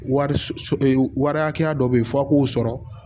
Wari wari hakɛya dɔ bɛ ye f'a k'o sɔrɔ